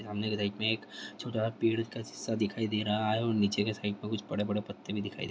सामने के रैक में एक छोटा पेड़ का हिस्सा दिखाई दे रहा है और नीचे के साइड में कुछ बड़े-बड़े पत्ते भी दिखाई दे --